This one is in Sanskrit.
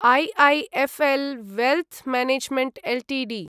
IIFL wealth management Ltd